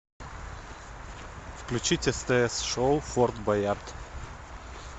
включить стс шоу форт боярд